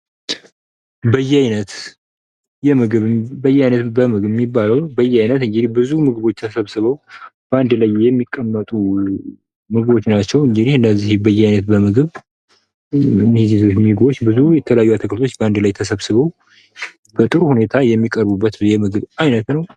በየዓይነት የምግብ የሚባለው በዓይነት ብዙ ምግቦች ተሰብስበው በአንድ ላይ የሚቀመጡ ምግቦች ናቸው። እንዲህ በየዓይነት በምግብ የተለያዩ ምግቦች በአንድ ላይ ተሰብስበው በጥሩ ሁኔታ የሚቀርቡበት ዓይነት ነው።.